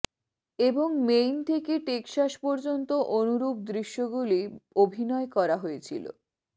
এবং মেইন থেকে টেক্সাস পর্যন্ত অনুরূপ দৃশ্যগুলি অভিনয় করা হয়েছিল